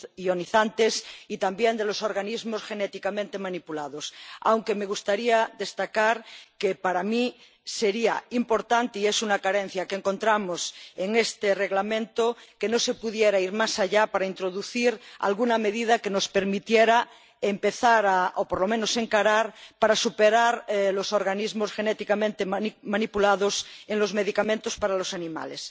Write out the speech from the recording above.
ionizantes y también de los organismos genéticamente manipulados—, aunque me gustaría destacar que para mí sería importante —y es una carencia que encontramos en este Reglamento— que se pudiera ir más allá para introducir alguna medida que nos permitiera empezar a superar —o, por lo menos, encarar— los organismos genéticamente manipulados en los medicamentos para los animales.